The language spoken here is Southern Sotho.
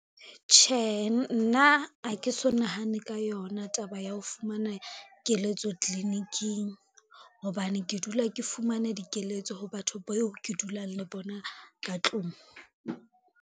Tjhehe nna ha ke so nahanne ka yona taba ya ho fumana keletso tliliniking, hobane ke dula ke fumana dikeletso ho batho beo ke dulang le bona ka tlung.